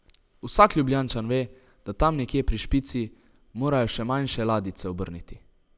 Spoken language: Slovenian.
Vsak Ljubljančan ve, da tam nekje pri Špici morajo še manjše ladjice obrniti.